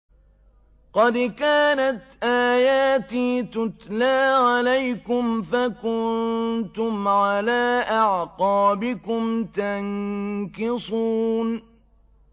قَدْ كَانَتْ آيَاتِي تُتْلَىٰ عَلَيْكُمْ فَكُنتُمْ عَلَىٰ أَعْقَابِكُمْ تَنكِصُونَ